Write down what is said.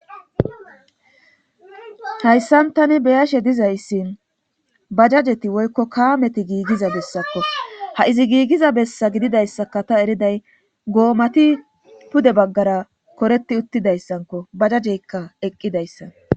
hayssan tani beyashe dizayssin bajajeti woykko kaameti giigiza bessakko ha izi giigiza bessa gididayssaka ta eriday goomati pude baggara koreti uttidayssanko bajajeykka eqqidayssa